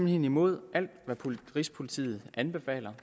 hen imod alt hvad rigspolitiet anbefaler